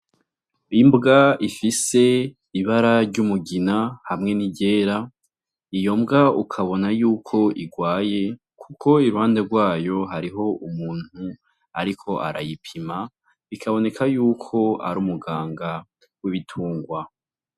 Imbwa ifise ibara ry'umugina hamwe n'iryera, iyo mbwa ukabona yuko igwaye kuko iruhande rwayo hariho umuntu ariko arayipima, bikaboneka yuko ar'umuganga w'ibitungwa.